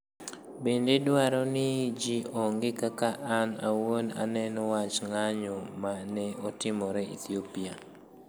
Bende, adwaro ni ji ong'e kaka an awuon aneno wach ng'anyo ma ne otimore Ethiopia.